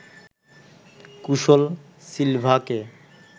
কুশল সিলভাকে